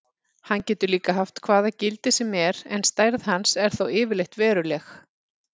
Hann getur líka haft hvað gildi sem er en stærð hans er þó yfirleitt veruleg.